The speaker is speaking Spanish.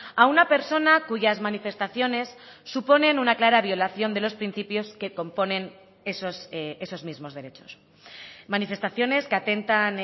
a una persona cuyas manifestaciones suponen una clara violación de los principios que componen esos mismos derechos manifestaciones que atentan